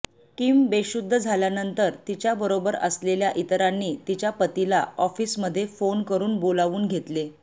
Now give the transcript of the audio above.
Kim बेशुद्ध झाल्यानंतर तिच्या बरोबर असलेल्या इतरांनी तिच्या पतीला ऑफिसमध्ये फोन करून बोलावून घेतले